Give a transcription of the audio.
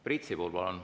Priit Sibul, palun!